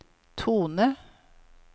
tone